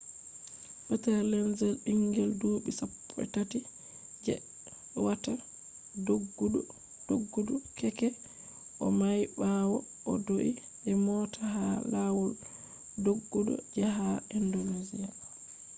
peter lenz bingel dubi sappoi tati je watta doggudu keke o may bawo o do’i be mota ha lawol doggudu je ha indonesia